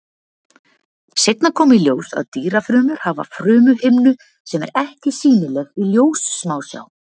Seinna kom í ljós að dýrafrumur hafa frumuhimnu sem er ekki sýnileg í ljóssmásjá.